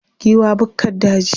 Giwa bukkar daji.